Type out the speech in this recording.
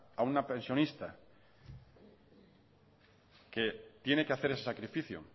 a una pensionista que tiene que hacer ese sacrificio